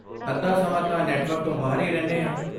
ਅੱਧਾ ਸਮਾਂ ਤਾਂ ਨੈੱਟਵਰਕ ਤੋਂ ਬਾਹਰ ਹੀ ਰਹਿਣੇ ਹਾਂ।